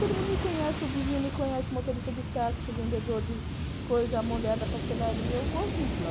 Todo mundo me conhece, o vizinho me conhece, o motorista de táxi, o vendedor de coisa, a mulher da pastelaria, eu gosto muito de lá.